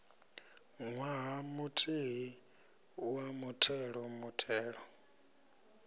ṅwaha muthihi wa muthelo muthelo